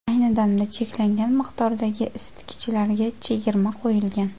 Ayni damda cheklangan miqdordagi isitgichlarga chegirma qo‘yilgan!